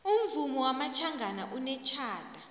umvumo wamatjhangana unetjhada